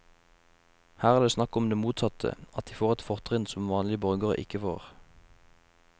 Her er det snakk om det motsatte, at de får et fortrinn som vanlige borgere ikke får.